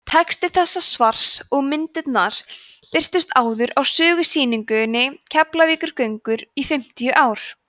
texti þessa svars og myndirnar birtust áður á sögusýningunni keflavíkurgöngur í fimmtíu ár